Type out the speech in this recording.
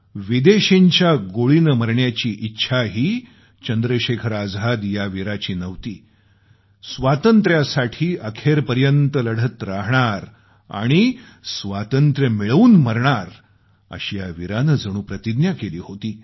विदेशींच्या गोळीने मरण्याची इच्छाही चंद्रशेखर आझाद या वीराची नव्हती स्वातंत्र्यासाठी अखेरपर्यंत लढत राहणार आणि बलिदान द्यावं लागलं तरी स्वातंत्र्य मिळवूनच बलिदान देणार अशी या वीरानं जणू प्रतिज्ञा केली होती